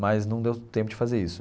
Mas não deu tempo de fazer isso.